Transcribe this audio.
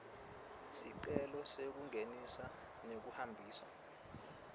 sicelo sekungenisa nekuhambisa